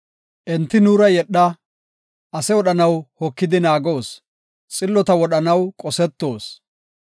Enti, “Nuura yedha; ase wodhanaw hokidi naagoos; xillota wodhanaw qosetoos.